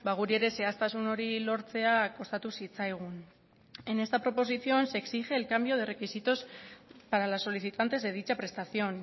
guri ere zehaztasun hori lortzea kostatu zitzaigun en esta proposición se exige el cambio de requisitos para las solicitantes de dicha prestación